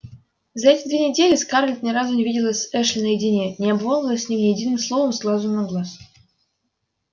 за эти две недели скарлетт ни разу не виделась с эшли наедине не обмолвилась с ним ни единым словом с глазу на глаз